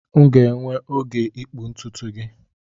M ga-enwe oge ịkpụ ntutu gị